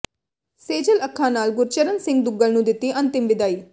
ਸੇਜਲ ਅੱਖਾਂ ਨਾਲ ਗੁਰਚਰਨ ਸਿੰਘ ਦੁੱਗਲ ਨੂੰ ਦਿੱਤੀ ਅੰਤਿਮ ਵਿਦਾਈ